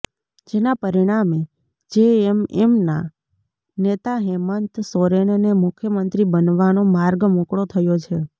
જેના પરિણામે જેએમએમનાં નેતા હેમંત સોરેનને મુખ્યમંત્રી બનવાનો માર્ગ મોકળો થયો છે